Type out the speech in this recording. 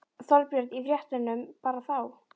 Þorbjörn: Í fréttunum bara þá?